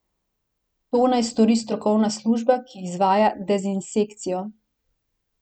To naj stori strokovna služba, ki izvaja dezinsekcijo.